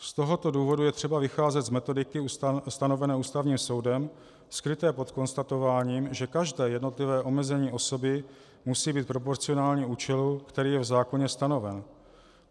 Z tohoto důvodu je třeba vycházet z metodiky stanovené Ústavním soudem skryté pod konstatováním, že každé jednotlivé omezení osoby musí být proporcionální účelu, který je v zákoně stanoven.